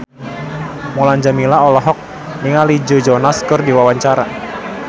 Mulan Jameela olohok ningali Joe Jonas keur diwawancara